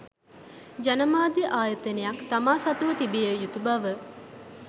ජනමාධ්‍ය ආයතනයක් තමා සතුව තිබිය යුතු බව